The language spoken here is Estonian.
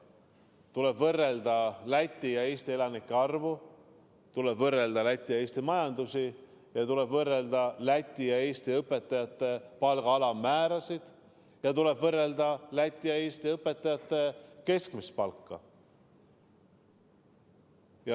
Tuleb võrrelda Läti ja Eesti elanike arvu, tuleb võrrelda Läti ja Eesti majandust, tuleb võrrelda Läti ja Eesti õpetajate palga alammäärasid ning tuleb võrrelda Läti ja Eesti õpetajate keskmist palka.